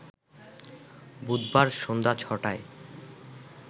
বুধবার সন্ধ্যা ছ’টায়